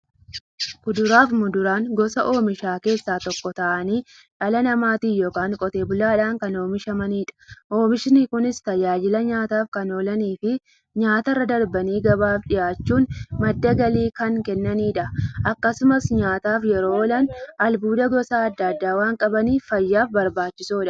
Kuduraafi muduraan gosa oomishaa keessaa tokko ta'anii, dhala namaatin yookiin Qotee bulaadhan kan oomishamaniidha. Oomishni Kunis, tajaajila nyaataf kan oolaniifi nyaatarra darbanii gabaaf dhiyaachuun madda galii kan kennaniidha. Akkasumas nyaataf yeroo oolan, albuuda gosa adda addaa waan qabaniif, fayyaaf barbaachisoodha.